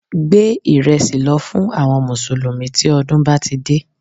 Gbé ìrẹsì lọ fún àwọn mùsùlùmí tí ọdún bá ti dé